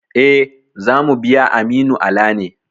E, za mu biya Aminu Ala ne.